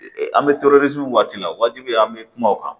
An bɛ waati la waati bɛɛ an bɛ kuma o kan